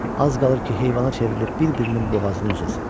Az qalır ki, heyvana çevrilib bir-birinin boğazını üzəsən.